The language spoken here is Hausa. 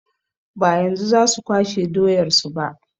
Ba yanzu za su kwashe doyar su ba.